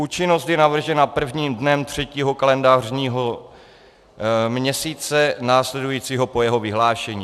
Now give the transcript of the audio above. Účinnost je navržena prvním dnem třetího kalendářního měsíce následujícího po jeho vyhlášení.